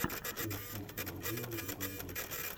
фильм с кристианом бейлом другая женщина